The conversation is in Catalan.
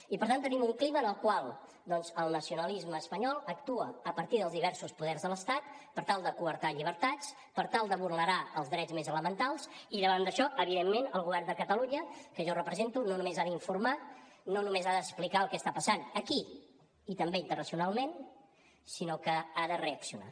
i per tant tenim un clima en el qual el nacionalisme espanyol actua a partir dels diversos poders de l’estat per tal de quartar llibertats per tal de vulnerar els drets més elementals i davant d’això evidentment el govern de catalunya que jo represento no només ha d’informar no només ha d’explicar el que està passant aquí i també internacionalment sinó que ha de reaccionar